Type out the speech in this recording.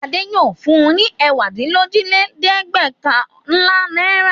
Adé yóò fun ní ẹ̀wádínlójìlẹ́ẹ̀dẹ́gbẹ̀ọ̀kànlá náírà!